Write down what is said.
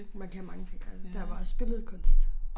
Man kan mange ting altså der var også billedkunst